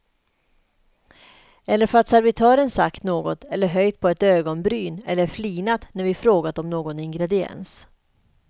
Eller för att servitören sagt något eller höjt på ett ögonbryn eller flinat när vi frågat om någon ingrediens.